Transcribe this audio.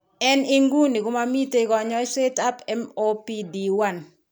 En inguni komamiiten kanyaayetab MOPD1.